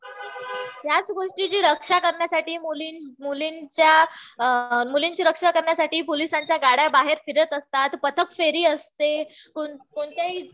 ह्याच गोष्टीची रक्षा करण्यासाठी मुलींची रक्षा करण्यासाठी पोलिसांच्या गाड्या बाहेर फिरत असतात. पथक फेरी असते. कोणत्याही